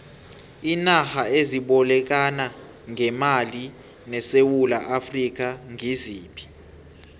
iinarha ezibolekana ngemali nesewula afrika ngiziphi